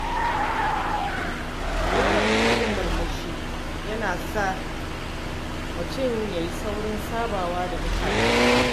Yawaita yin murmushi yana sa mutum ya yi saurin sabawa da mutane.